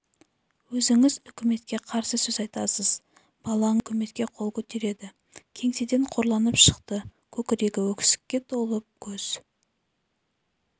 өзіңіз үкіметке қарсы сөз айтасыз балаңыз үкіметке қол көтереді кеңседен қорланып шықты көкірегі өксікке толып көз